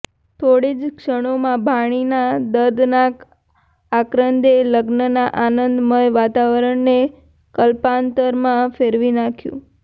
થોડી જ ક્ષણોમાં ભાણીનાં દર્દનાક આક્રંદે લગ્નનાં આનંદ મય વાતવરણને કલ્પાંતરમાં ફેરવી નાખ્યું